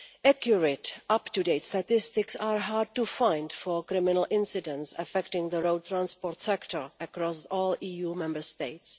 Accurate, up to date statistics are hard to find for criminal incidents affecting the road transport sector across all EU Member States.